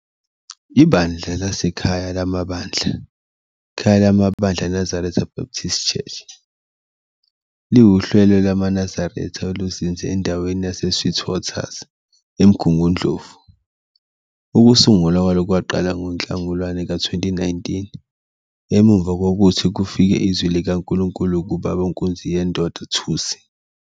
IBandla laseKhayalamabandla, "Khayalamabandla Nazareth Baptist Church", liwuhlelo lwamaNazaretha olizinze endaweni yase-Sweetwaters, eMgungundlovu. Ukusungulwa kwalo kwaqala ngoNhlangulana ka-2019, emumva kokuthi kufike izwi likaNkulunkulu kuBaba uNkunziyendoda Thusi.